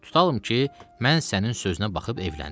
Tutalım ki, mən sənin sözünə baxıb evləndim.